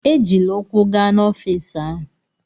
Ejila ụkwụ gaa n'ọfịisi ahụ!